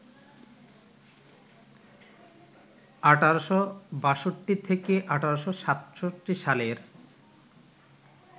১৮৬২ থেকে ১৮৬৭ সালের